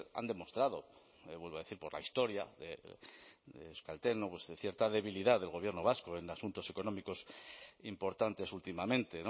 han demostrado vuelvo a decir por la historia de euskaltel de cierta debilidad del gobierno vasco en asuntos económicos importantes últimamente